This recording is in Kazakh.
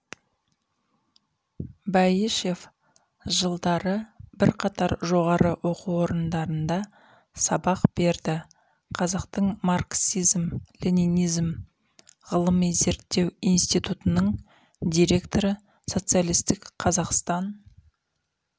бәйішев жылдары бірқатар жоғары оқу орындарында сабақ берді қазақтың марксизм-ленинизм ғылыми зерттеу институтының директоры социалистік қазақстан